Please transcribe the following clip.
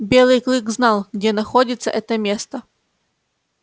белый клык знал где находится это место